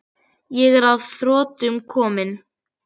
Ég er að þrotum kominn.